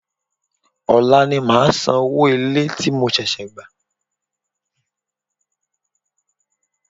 Òla ni màá san owó ilé tí mo ṣẹ̀ṣẹ̀ gbà